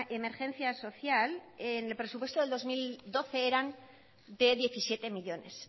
emergencia social en el presupuesto del dos mil doce eran de diecisiete millónes